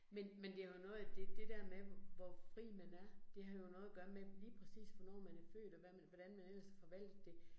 Men men det har jo noget, at det det der med, hvor fri man er, det har jo noget at gøre med lige præcis, hvornår man er født, og hvad man, hvordan man ellers har forvaltet det